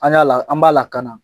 An y'a la, an b'a lakana.